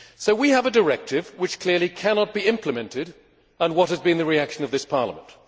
We have a directive which clearly cannot be implemented, and what has been the reaction of this Parliament?